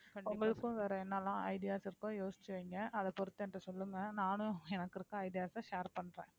உங்களுக்கும் வேற என்னெல்லாம் ideas இருக்கோ யோசிச்சு வைங்க அதைப் பொறுத்து என்கிட்ட சொல்லுங்க நானும் எனக்கு இருக்க ideas அ share பண்றேன்